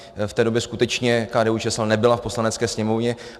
V té době skutečně KDU-ČSL nebyla v Poslanecké sněmovně.